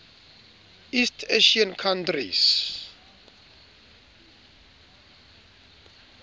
east asian countries